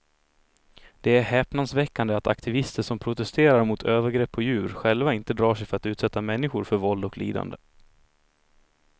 Det är häpnadsväckande att aktivister som protesterar mot övergrepp på djur själva inte drar sig för att utsätta människor för våld och lidande.